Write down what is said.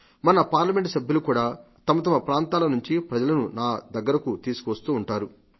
మన పార్లమెంటు సభ్యులు కూడా తమతమ ప్రాంతాల నుండి ప్రజలను నా దగ్గరకు తీసుకువస్తారు